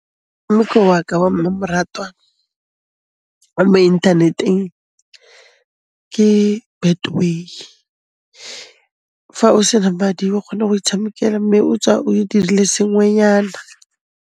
Wa ka wa mmamoratwa wa mo inthaneteng ke Betway. Fa o sena madi o kgona go itshamekela mme o tswa o e dirile sengwenyana.